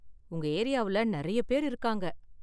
உங்க ஏரியாவுல நெறைய பேர் இருக்காங்க.